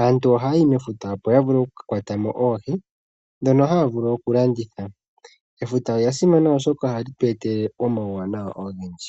Aantu oha ya yi mefuta opo ya vule okukakwatamo oohi ndhono haya vulu okulanditha. Efuta olya simana oshoka oha li tweetele omauwanawa ogendji.